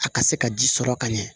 A ka se ka ji sɔrɔ ka ɲɛ